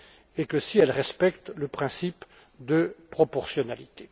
et que si elles respectent le principe de proportionnalité.